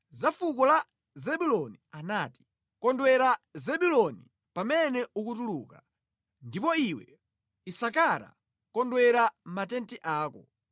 Za fuko la Zebuloni anati: “Kondwera Zebuloni, pamene ukutuluka, ndipo iwe, Isakara, kondwera mʼmatenti ako.